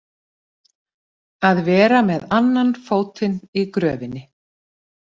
Að vera með annan fótinn í gröfinni